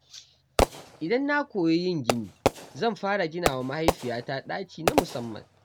Idan na koyi yin gini, zan fara ginawa mahaifiyata ɗaki na musamman.